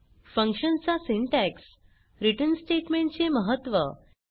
function चा syntax return statement चे महत्त्व